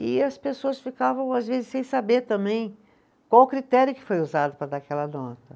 E as pessoas ficavam, às vezes, sem saber também qual o critério que foi usado para dar aquela nota.